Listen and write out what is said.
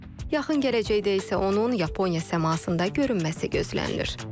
Yaxın gələcəkdə isə onun Yaponiya səmasında görünməsi gözlənilir.